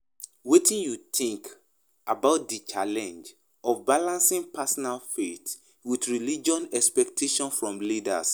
Wetin you think about di challenge of balancing personal faith with religious expectations from leaders?